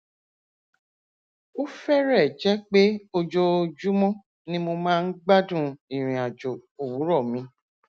ó fẹrẹẹ jẹ pé ojoojúmọ ni mo máa ń gbádùn ìrìn àjò òwúrọ mi